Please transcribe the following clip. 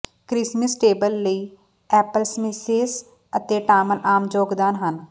Christmas table ਲਈ applesauces ਅਤੇ ਟਾਮਲ ਆਮ ਯੋਗਦਾਨ ਹਨ